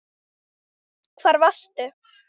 Hvar varstu?